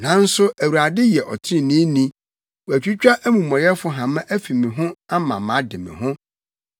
Nanso Awurade yɛ ɔtreneeni; watwitwa amumɔyɛfo hama afi me ho ama made me ho.”